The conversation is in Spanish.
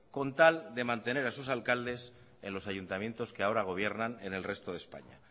con tal de mantener a sus alcaldes en los ayuntamientos que ahora gobiernan en el resto de españa